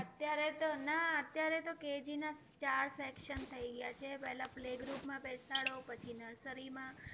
અત્યારે તો, ના અત્યારે તો ના KG ના ચાર section થઈ ગયા છે. પહેલાં playgroup માં બેસાડો પછી nursery માં